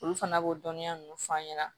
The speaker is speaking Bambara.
Olu fana b'o dɔnniya ninnu f'an ɲɛna